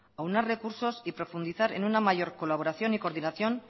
aunar recursos y profundizar en una mayor colaboración y coordinación